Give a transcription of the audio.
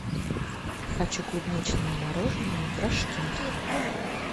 хочу клубничное мороженое в рожке